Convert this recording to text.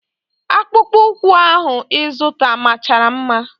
Akpụkpọ ụkwụ ahụ ịzụta machara mma.